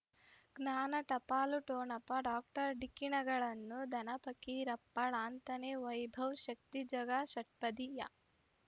ಜ್ಞಾನ ಟಪಾಲು ಠೊಣಪ ಡಾಕ್ಟರ್ ಢಿಕ್ಕಿ ಣಗಳನು ಧನ ಪ ರಪ್ಪ ಲಾಂತನೆ ವೈಭವ್ ಶಕ್ತಿ ಝಗಾ ಷಟ್ಪದಿಯ